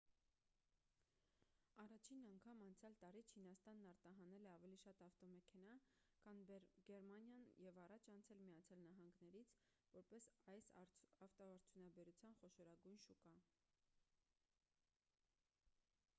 առաջին անգամ անցյալ տարի չինաստանն արտահանել է ավելի շատ ավտոմեքենա քան գերմանիան և առաջ անցել միացյալ նահանգներից որպես այս ավտոարդյունաբերության խոշորագույն շուկա